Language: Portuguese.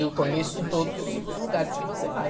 Eu conheço todos os os lugares que você vai.